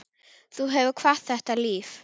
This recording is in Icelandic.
Þú hefur kvatt þetta líf.